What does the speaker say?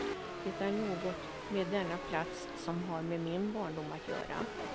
Det är något med denna plats som har med min barndom att göra.